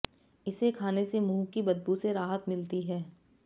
इसे खाने से मुंह की बदबू से राहत मिलती है